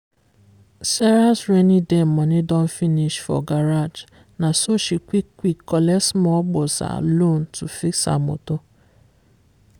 sarah's rainy day money don finish for garage na so she quick-quick collect small gboza loan to fix her motor.